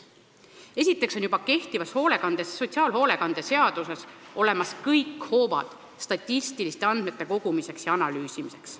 Esiteks on juba kehtivas sotsiaalhoolekande seaduses olemas kõik hoovad statistiliste andmete kogumiseks ja analüüsimiseks.